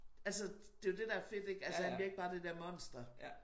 Altså det jo det der fedt ik altså han bliver ikke bare det der monster